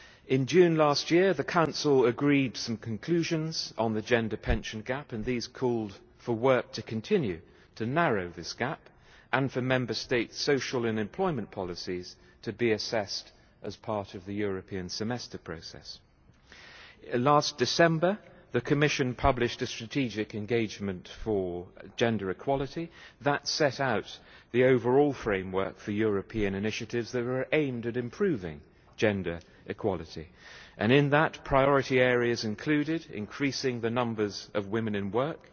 In June last year, the Council agreed some conclusions on the gender pension gap, and these called for work to continue to narrow this gap, and for Member States' social and employment policies to be assessed as part of the European Semester process. Last December, the Commission published a strategic engagement for gender equality that set out the overall framework for European initiatives that were aimed at improving gender equality and, in that, priority areas included increasing the numbers of women in work,